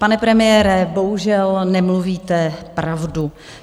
Pane premiére, bohužel nemluvíte pravdu.